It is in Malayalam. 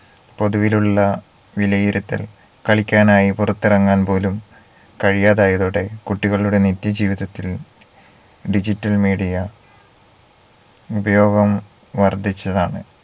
പൊതുവിലുള്ള വിലയിരുത്തൽ കളിക്കാനായി പുറത്തിറങ്ങാൻ പോലും കഴിയാതായതോടെ കുട്ടികളുടെ നിത്യജീവിതത്തിൽ digital media ഉപയോഗം വർദ്ധിച്ചതാണ്